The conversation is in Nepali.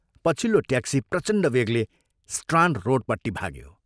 पछिल्लो ट्याक्सी प्रचण्ड वेगले स्ट्राण्ड रोडपट्टि भाग्यो।